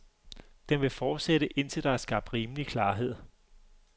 Den vil fortsætte, indtil der er skabt rimelig klarhed.